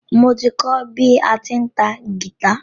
Mo ti kọ bí a ti ń ta gìtá.